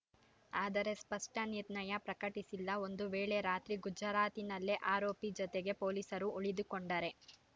ಆದರೆ ಸ್ಪಷ್ಟನಿರ್ಣಯ ಪ್ರಕಟಿಸಿಲ್ಲ ಒಂದು ವೇಳೆ ರಾತ್ರಿ ಗುಜರಾತಿನಲ್ಲೇ ಆರೋಪಿ ಜತೆಗೆ ಪೊಲೀಸರು ಉಳಿದುಕೊಂಡರೆ